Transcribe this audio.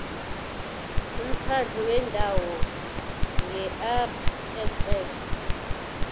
umkhandlu wendawo ngerss